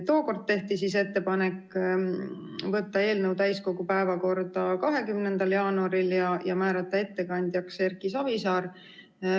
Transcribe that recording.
Tookord tehti ettepanek võtta eelnõu täiskogu päevakorda 20. jaanuariks ja määrata ettekandjaks Erki Savisaar.